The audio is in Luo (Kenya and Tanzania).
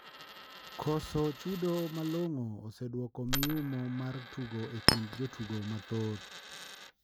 Koso chudo malongo oseduoko miyumo mar tugo e kind jotugo mathoth.